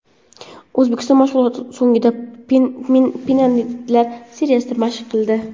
O‘zbekiston mashg‘ulot so‘ngida penaltilar seriyasini mashq qildi.